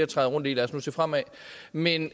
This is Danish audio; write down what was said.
at træde rundt i lad os nu se fremad men